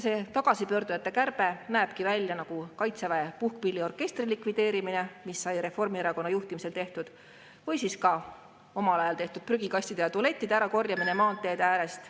See tagasipöörduja kärbe näeb välja nagu Kaitseväe puhkpilliorkestri likvideerimine, mis sai Reformierakonna juhtimisel tehtud, või siis ka omaaegne prügikastide ja tualettide ärakorjamine maanteede äärest.